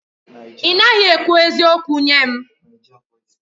Ị naghị ekwu eziokwu nye m.